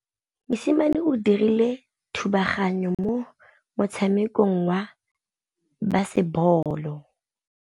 Mosimane o dirile thubaganyô mo motshamekong wa basebôlô.